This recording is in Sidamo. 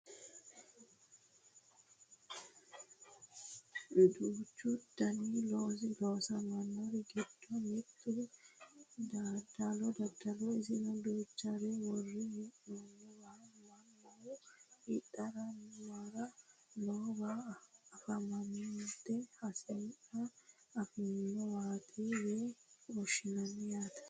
duuchu dani looso loonsanniri giddo mittu daddaloho isino duuchare worre hee'noonniwa mannu hidhara mare noowa anfannite hasi'nire afi'nanniwaati yine woshshinanni yaate